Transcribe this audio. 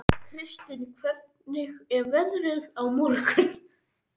Kristin, hvernig er veðrið á morgun?